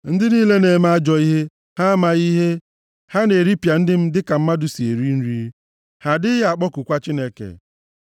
Ndị niile na-eme ajọ ihe, ha amaghị ihe? Ha na-eripịa ndị m dịka mmadụ si eri nri, ha adịghị akpọkukwa Chineke.